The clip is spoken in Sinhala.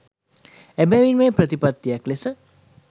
එබැවින් මෙය ප්‍රතිපත්තියක් ලෙස